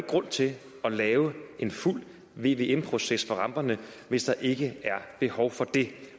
grund til at lave en fuld vvm proces for ramperne hvis der ikke er behov for det